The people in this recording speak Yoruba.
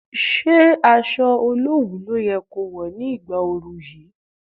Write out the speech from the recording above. Ṣé aṣọ olowu ló yẹ ko wọ̀ ní ìgbà oru yìí?